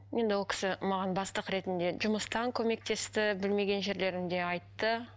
енді ол кісі маған бастық ретінде жұмыстан көмектесті білмеген жерлерімде айтты